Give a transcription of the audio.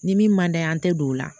Ni min man d'a ye an tɛ don o la